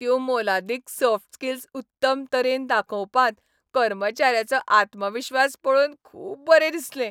त्यो मोलादीक soft skills उत्तम तरेन दाखोवपांत कर्मचाऱ्याचो आत्मविश्वास पळोवन खूब बरें दिसलें.